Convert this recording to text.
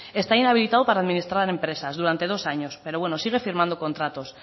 está inhabilitado para administrar empresas durante dos años pero bueno sigue firmando contratos